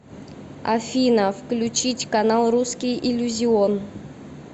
афина включить канал русский иллюзион